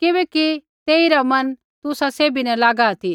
किबैकि तेइरा मन तुसा सैभी न लागा ती